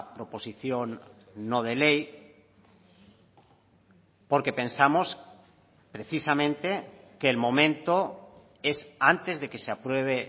proposición no de ley porque pensamos precisamente que el momento es antes de que se apruebe